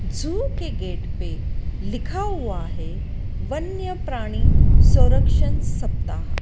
जू के गेट पे लिखा हुआ है वन्य प्राणी सुरक्षण सप्ताह।